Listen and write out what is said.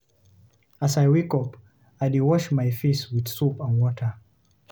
As I wake up, I dey wash my face with soap and water.